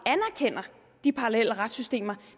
de parallelle retssystemer